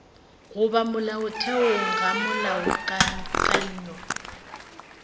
go ba molaotheong ga molaokakanywa